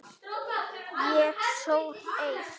Ég sór eið.